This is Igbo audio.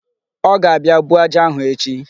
Ọ ga-abịa buo aja ahụ echi.